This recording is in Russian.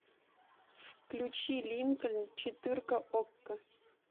включи линкольн четырка окко